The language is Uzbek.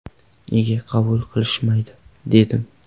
Nega qabul qilishmaydi, dedim.